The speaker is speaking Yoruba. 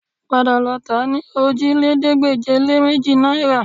Padà lọ tà á ní òjìlélẹ́ẹ̀ẹ́dégbèje-lé-méjì náìrà